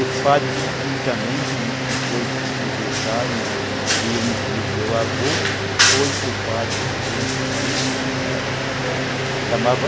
Esse padre Chiquinho também, que que foi confessar e ungir o meu avô, foi o padre que fez o meu batizado. Chamava